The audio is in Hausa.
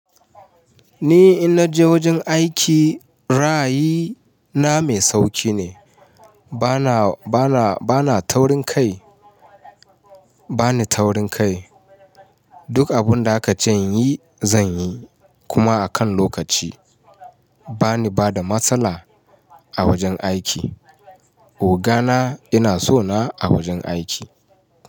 Ni inna je wajen aiki, rayi na mai sauƙi ne. Bana, bana, bana taurin kai. Ba ni taurin kai. Duk abun da aka ce in yi, zan yi kuma a kan lokaci. Ba ni bada matsala a wajen aiki. Oga na yana so na a wajen aiki.